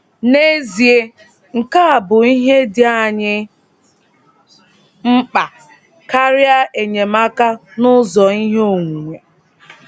N’ezie, nke a bụ ihe dị anyị mkpa, karịa enyemaka n’ụzọ ihe onwunwe.